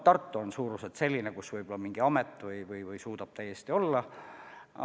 Tartu on suuruselt selline linn, kus mingi amet suudab täiesti olla.